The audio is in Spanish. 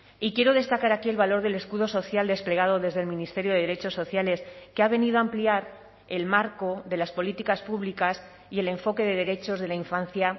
y quiero destacar aquí el valor del escudo social desplegado desde el ministerio de derechos sociales que ha venido a ampliar el marco de las políticas públicas y el enfoque de derechos de la infancia